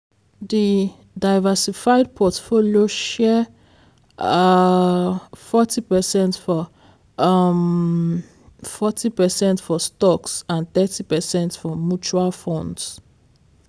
di diversified portfolio share um forty percent for um forty percent for stocks and forty percent for mutual funds.